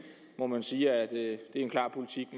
må man sige er en klar politik